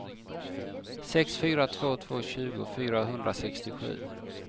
sex fyra två två tjugo fyrahundrasextiosju